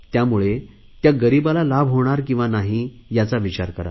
त्यामुळे त्या गरीबाला लाभ होणार किंवा नाही याचा विचार करा